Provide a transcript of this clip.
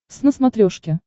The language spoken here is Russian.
твз на смотрешке